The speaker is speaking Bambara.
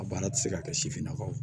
A baara tɛ se ka kɛ sifinnakaw